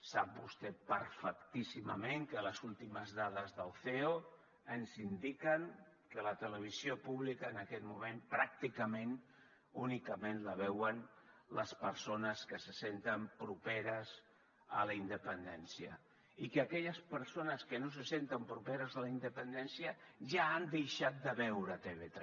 sap vostè perfectíssimament que les últimes dades del ceo ens indiquen que la televisió pública en aquest moment pràcticament únicament la veuen les persones que se senten properes a la independència i que aquelles persones que no se senten properes a la independència ja han deixat de veure tv3